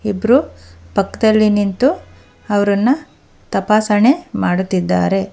ಇಬ್ರು ಪಕ್ದಲ್ಲಿ ನಿಂತು ಅವರನ್ನು ತಪಾಸಣೆ ಮಾಡುತ್ತಿದ್ದಾರೆ.